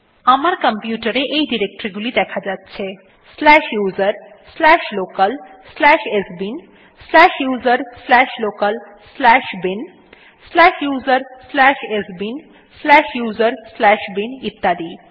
আমার কম্পিউটার এ এই ডিরেক্টরী গুলি দেখা যাচ্ছে slash USR slash local slash sbin slash USR slash local slash bin slash USR slash sbin slash USR slash bin ইত্যাদি